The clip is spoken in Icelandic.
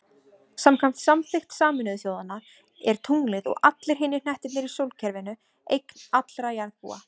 Samkvæmt samþykkt Sameinuðu þjóðanna er tunglið, og allir hinir hnettirnir í sólkerfinu, eign allra jarðarbúa.